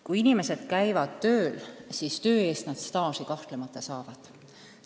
Kui inimesed käivad tööl, siis töö eest nad staažiaastaid kahtlemata saavad.